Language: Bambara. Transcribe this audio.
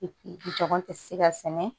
tɛ se ka sɛnɛ